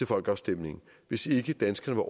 folkeafstemningen hvis ikke danskerne